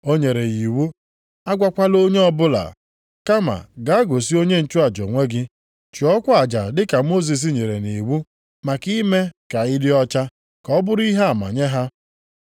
O nyere ya iwu, “A gwakwala onye ọbụla, kama gaa gosi onye nchụaja onwe gị, chụọkwa aja dị ka Mosis nyere nʼiwu maka ime ka ị dị ọcha, ka ọ bụrụ ihe ama nye ha.”